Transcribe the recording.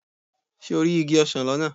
Ṣé o rí igi ọsán lọ́nà?